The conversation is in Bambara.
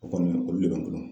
O kɔni olu de ka jugun